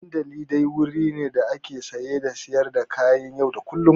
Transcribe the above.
Dandalin dai wuri ne da ake saye da sayar da kayan yau da kullum.